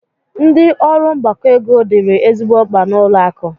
Ndi ọrụ mgbakọ ego dịịrị ezigbo mkpa n'ụlọ akụ.